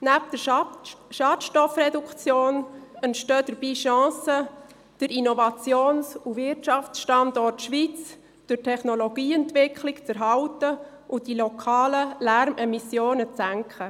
Neben der Schadstoffreduktion entstehen dabei Chancen, den Innovations- und Wirtschaftsstandort Schweiz für die Technologieentwicklung zu erhalten und die lokalen Lärmemissionen zu senken.